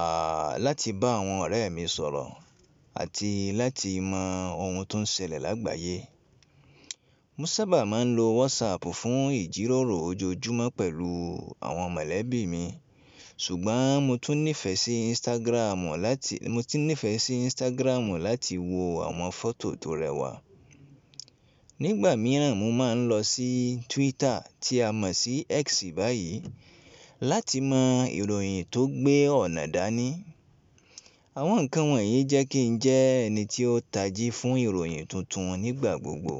a láti bá àwọn ọ̀rẹ́ mi sọ̀rọ̀ àti láti mọ ohun tó ń ṣẹlẹ̀ lágbàáyé. Mo sábà máa ń lo WhatsApp fún ìjíròrò ojoojúmọ́ pẹ̀lú àwọn mọ̀lẹ́bí mi, ṣùgbọ́n mo tún nífẹ̀ẹ́ sí Instagram láti mo tún nífẹ̀ẹ́ sí Instagram láti wo àwọn fọ́tò tó rẹwà. Nígbà mìíràn, mo máa ń lọ sí Twitter tí a mọ̀ sí X báyìí láti mọ ìròyìn tó gbé ọ̀nà dání. Àwọn ǹkan wọ̀nyí jẹ́ kí n jẹ́ ẹni tí ó tají fún ìròyìn tuntun nígbà gbogbo.